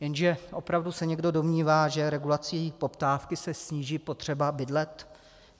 Jenže opravdu se někdo domnívá, že regulací poptávky se sníží potřeba bydlet?